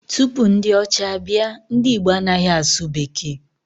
Tupu ndị ọcha abịa, ndị Igbo anaghị asụ bekee